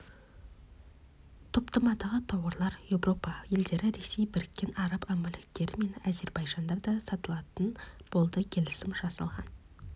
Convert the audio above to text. топтамадағы тауарлар еуропа елдері ресей біріккен араб әмірліктері мен әзербайжанда да сатылатын болды келісім жасалған